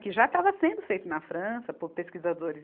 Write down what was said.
que já estava sendo feito na França por pesquisadores.